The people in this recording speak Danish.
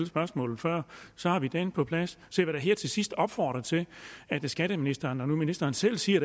spørgsmålet før så har vi den på plads så jeg vil da her til sidst opfordre til at skatteministeren når nu ministeren selv siger